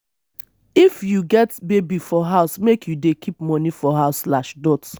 if you get baby for house make you dey keep moni for house.